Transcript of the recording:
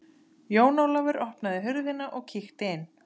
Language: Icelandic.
Jón Ólafur opnaði hurðina og kíkti inn.